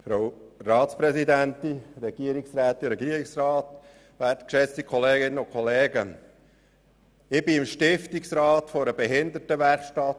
Ich bin im Stiftungsrat von Bernaville, einer Behindertenwerkstatt.